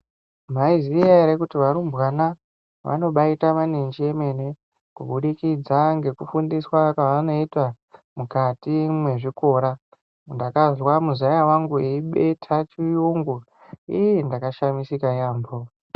Maiziya ere kuti varumbwana vanobaita manenji emene kubudikidza ngekufundiswa kwaanoita mukati mwezvikora. Ndakazwa muzaya wangu eibetha chiyungu, iii! Ndakashamisika yaambo.